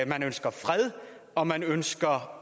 man ønsker fred og man ønsker